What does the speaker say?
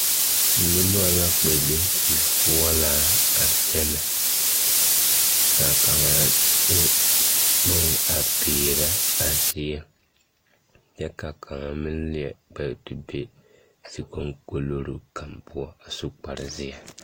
Noba la kpԑ be zifoͻraa a kyԑnԑ. ka kaŋa a de bone a peerԑ a zie kyԑ ka kaŋa kpԑ be zikoŋkoloroŋ kaŋa poͻ a su kpare zeԑ.